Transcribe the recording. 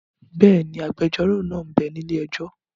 Bẹ́ẹ̀ni, agbẹjọ́rò náà m bẹ ní ilé-ẹjọ́